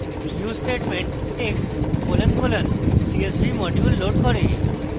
use statement text colon colon csv module loads করে